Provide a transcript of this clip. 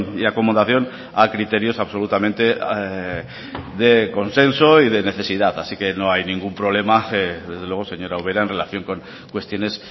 y acomodación a criterios absolutamente de consenso y de necesidad así que no hay ningún problema desde luego señora ubera en relación con cuestiones